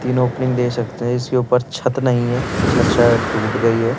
तीन ओपनिंग दे सकते हैं इसके ऊपर छत नहीं है छत शायद टूट गई है।